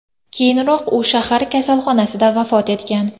Keyinroq u shahar kasalxonasida vafot etgan.